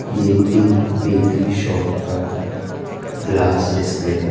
ये एक bakery shop का ग्लास डिस्प्ले है।